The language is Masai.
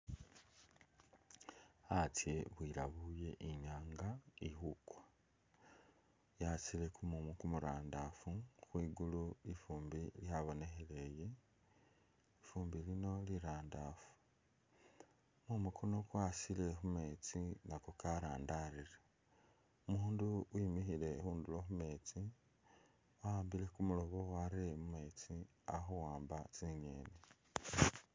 Astye bwiyabuye i'nyaanga ili khukwa. Yasile kumuumu kumurandaafu khwi gulu lifuumbi lyabonekhelele, lifumbi lino lirandaafu. Kumuumu kuno kwasile khu meetsi nako karandaarire. Umundu wimikhile khundulo khu meetsi wa'ambile kumurobo warere mu meetsi ali khuwamba tsingeeni.